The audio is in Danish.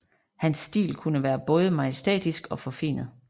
Hans stil kunne være både majestætisk og forfinet